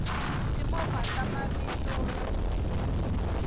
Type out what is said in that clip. timovha ta mavito yaku duma